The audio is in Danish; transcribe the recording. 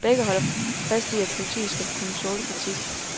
Begge holder fast i, at politiet skal kunne tåle kritik.